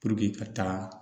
ka taga